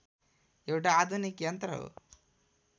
एउटा आधुनिक यन्त्र हो